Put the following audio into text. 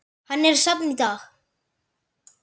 Hann er safn í dag.